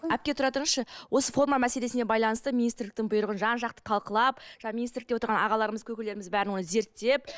әпке тұра тұрыңызшы осы форма мәселесіне байланысты министрліктің бұйрығын жан жақты талқылап жаңа министрлікте отырған ағаларымыз көкелеріміз бәрін оны зерттеп